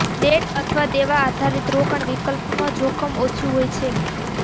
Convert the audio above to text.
date અથવા દેવા આધારિત રોકાણ વિકલ્પમાં જોખમ ઓછું હોય છે